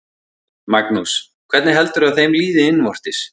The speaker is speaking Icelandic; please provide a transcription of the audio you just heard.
Magnús: Hvernig heldurðu að þeim líði innvortis?